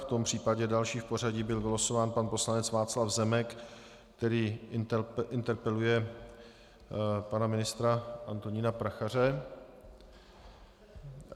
V tom případě další v pořadí byl vylosován pan poslanec Václav Zemek, který interpeluje pana ministra Antonína Prachaře.